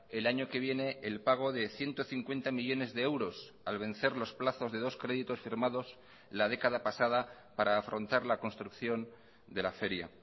el año que viene el pago de ciento cincuenta millónes de euros al vencer los plazos de dos créditos firmados la década pasada para afrontar la construcción de la feria